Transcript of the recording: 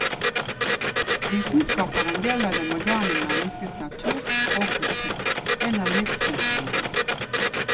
Vitenskap er en del av det moderne menneskets natur og kultur, en av livsfunksjonene.